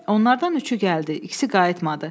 Onlardan üçü gəldi, ikisi qayıtmadı.